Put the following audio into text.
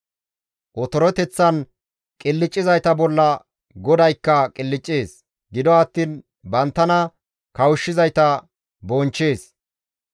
Otoreteththan qilccizayta bolla GODAYKKA qilccees; gido attiin banttana kawushshizayta bonchchees.